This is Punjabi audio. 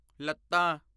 ਲੱਤਾਂ